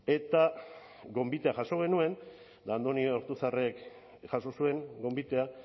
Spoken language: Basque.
eta gonbitea jaso genuen andoni ortuzarrek jaso zuen gonbitea